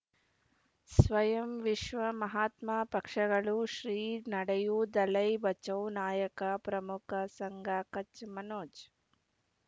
ಸ್ವಯಂ ವಿಶ್ವ ಮಹಾತ್ಮ ಪಕ್ಷಗಳು ಶ್ರೀ ನಡೆಯೂ ದಲೈ ಬಚೌ ನಾಯಕ ಪ್ರಮುಖ ಸಂಘ ಕಚ್ ಮನೋಜ್